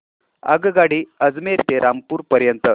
आगगाडी अजमेर ते रामपूर पर्यंत